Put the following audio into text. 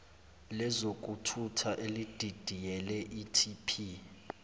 lezokuthutha elididiyele itp